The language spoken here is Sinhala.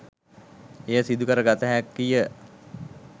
එය සිදු කරගත හැකිය.